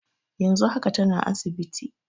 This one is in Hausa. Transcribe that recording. Yanzu haka tana asibiti.